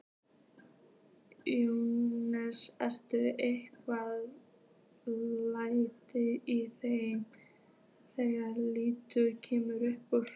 Jóhannes: Eru einhver læti í þeim þegar línan kemur upp?